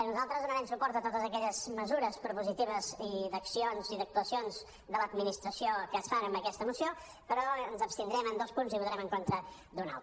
nosaltres donarem suport a totes aquelles mesures propositives d’accions i d’ac·tuacions de l’administració que es fan en aquesta moció però ens abstindrem en dos punts i votarem en contra d’un altre